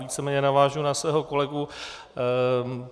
Víceméně navážu na svého kolegu.